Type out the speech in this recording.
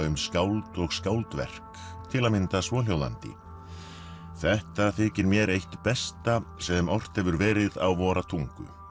um skáld og skáldverk til að mynda svohjóðandi þetta þykir mér eitt besta sem ort hefur verið á vora tungu